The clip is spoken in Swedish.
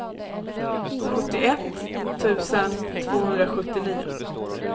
sjuttioett tusen tvåhundrasjuttionio